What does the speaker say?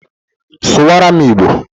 Sụwara m Igbo!